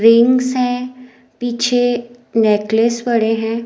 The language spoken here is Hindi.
रिंग्स है पीछे नेकलेस पड़े हैं।